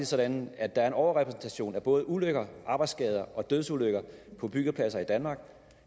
sådan at der er en overrepræsentation af både ulykker arbejdsskader og dødsulykker på byggepladser i danmark